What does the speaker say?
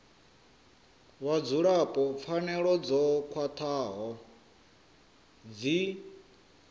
vhadzulapo pfanelo dzo khwathaho dzi